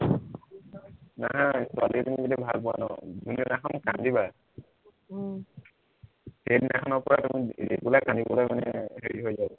নাই ছোৱালী এজনী যেতিয়া ভাল পোৱা ন যোনদিনাখন কান্দিবা উম সেইদিনাখনৰপৰা তুমি regular কান্দিবলে মানে হেৰি হৈ যাব